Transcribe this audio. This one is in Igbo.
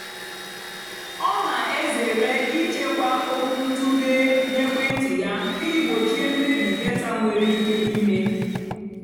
ọ́ nà-èzèré ị́chèkwá ókwúntụ̀ghé nà ékwéntị́ yá ìjì gbòchíé mmébì dátà nwèrè íké ímé.